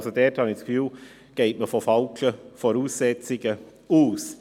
Man geht von falschen Voraussetzungen aus.